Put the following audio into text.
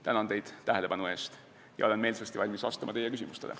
Tänan teid tähelepanu eest ja olen meelsasti valmis vastama teie küsimustele.